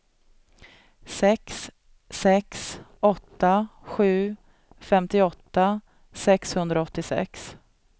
sex sex åtta sju femtioåtta sexhundraåttiosex